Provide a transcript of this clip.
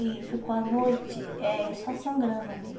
E ficou a noite eh só sangrando ali.